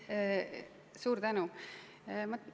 Suur tänu!